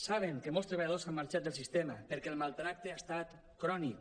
saben que molts treballadors han marxat del sistema perquè el maltractament ha estat crònic